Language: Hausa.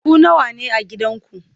Ku nawa ne a gidanku?